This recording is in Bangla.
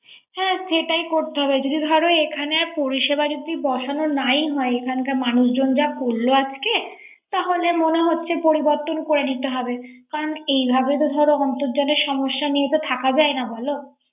হ্যা সেটাই করতে হবে। যদি ধর এখানে পরিসেবা যদিবসানো নাই হয়। এখানকার মানুষজন যা করল আজকে ।তাহলে মনে হচ্ছে পরিবর্তন করে নিতে হবে। করান এইভাবে তো ধর অর্ন্তজানের সমস্যা নিয়া তো থাকা যায় না বল।